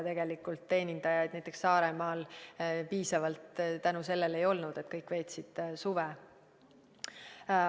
Tegelikult selle tõttu teenindajaid näiteks Saaremaal piisavalt ei olnud, sest kõik veetsid suve.